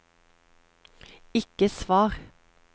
ikke svar